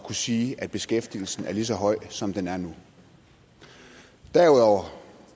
sige at beskæftigelsen er lige så høj som den er nu derudover